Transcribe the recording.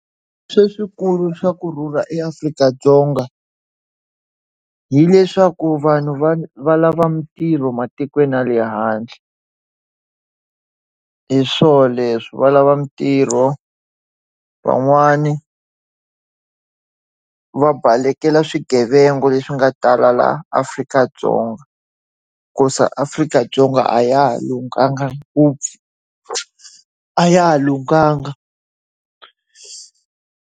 Leswikulu swa kurhula eAfrika-Dzonga, hileswaku vanhu va va va lava mintirho matikweni ya le handle. Hi swo leswo. Va lava mitirho, van'wani va balekela swigevenga leswi nga tala laha Afrika-Dzonga hikuva Afrika-Dzonga a ya ha lunghanga ngopfu. A ya ha lunghanga.